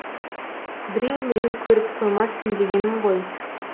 біреу міреу көріп қоймасын дегенім ғой